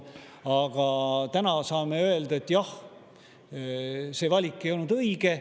Aga täna me saame öelda, et jah, see valik ei olnud õige.